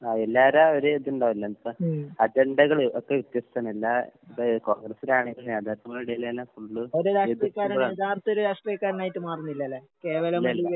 ആഹ് എല്ലാർടേം ഒരിത്ണ്ടാവുല്ലോ എന്ന് വെച്ചാ അജണ്ടകള് ഒക്കെ വ്യത്യസ്താണ്. എല്ലാ ഇപ്പ കോൺഗ്രസ്സിലാണെങ്കിലും നേതാക്കന്മാരുടെ ഇടയില്‍ എല്ലാം ഫുള്ള് എതിർപ്പുകളാണ്. ഇല്ല ഇല്ല.